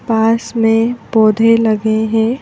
पास में पौधे लगे हैं।